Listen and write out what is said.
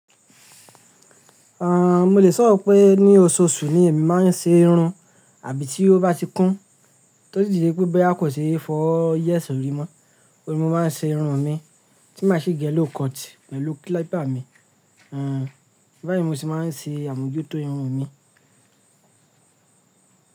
Mo lè sọ pé ní oṣooṣù ni èmi máa ń ṣe irun àbí tí ó bá ti kún. Torí díje pé báyo kò ṣe fọ yésori mọ́. Oun ni mo máa ń ṣe irun mi tí ma sì gé lówcut pẹ̀lú klípà mi. Báyìí mo se máa ń ṣe àmójútó irun mi.